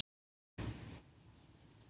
Nafn hans var